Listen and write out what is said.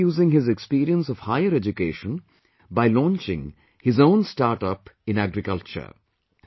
He is now using his experience of higher education by launching his own startup in agriculture